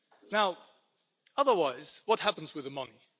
Now otherwise, what happens with the money?